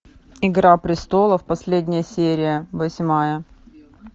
игра престолов последняя серия восьмая